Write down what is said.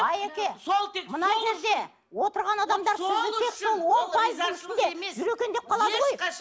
айеке мына жерде отырған адамдар сізді тек сол он пайыздың ішінде жүр екен деп қалады ғой